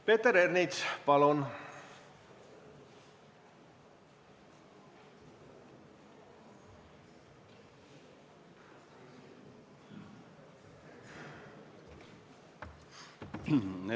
Peeter Ernits, palun!